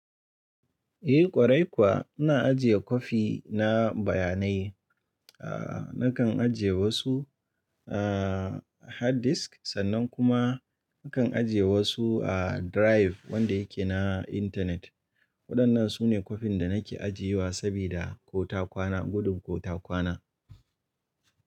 Eh ƙwarai kuwa, ina ajiye kwafi na bayanai. Aaa nakan ajiye wasu a hard disk sannan kuma nakan ajiye wasu a drive wanda yake na intanet. Waɗannan su ne kwafin da nake ajiye wa sabida ko ta kwana, gudun ko ta kwana.